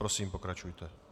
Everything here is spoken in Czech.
Prosím, pokračujte.